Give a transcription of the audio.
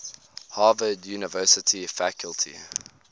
harvard university faculty